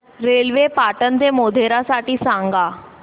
railway Patan ते मोढेरा साठी सांगा